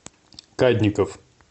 кадников